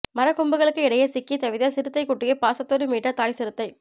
மர கொம்புகளுக்கு இடையே சிக்கி தவித்த சிறுத்தை குட்டியை பாசத்தோடு மீட்ட தாய் சிறுத்தை